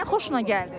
Niyə xoşun gəldi?